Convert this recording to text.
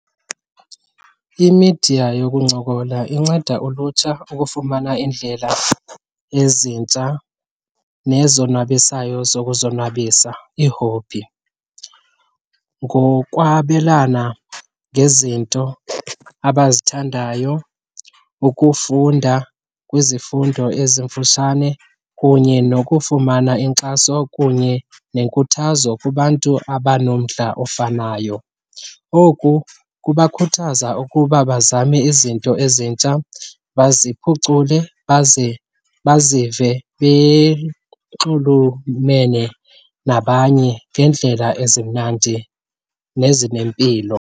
Imidiya yokuncokola inceda ulutsha ukufumana iindlela ezintsha nezonwabisayo zokuzonwabisa, ii-hobby, ngokwabelana ngezinto abazithandayo, ukufunda kwizifundo ezimfutshane kunye nokufumana inkxaso kunye nenkuthazo kubantu abanomdla ofanayo. Oku kubakhuthaza ukuba bazame izinto ezintsha baziphucule, bazive benxulumene nabanye ngeendlela ezimnandi nezinempilo.